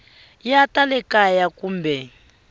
ya ta le kaya kumbe